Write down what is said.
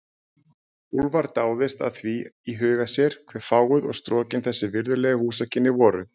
Úlfar dáðist að því í huga sér, hve fáguð og strokin þessi virðulegu húsakynni voru.